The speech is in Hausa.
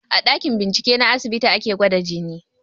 A ɗakin bincike na asibiti ake gwada jini